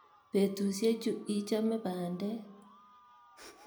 Petusye chu ichome pandek.